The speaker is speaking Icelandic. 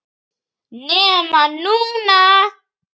NEMA NÚNA!!!